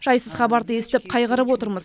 жайсыз хабарды естіп қайғырып отырмыз